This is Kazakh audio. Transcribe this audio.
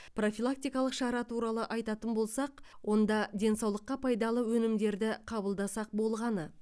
профилактикалық шара туралы айтатын болсақ онда денсаулыққа пайдалы өнімдерді қабылдасақ болғаны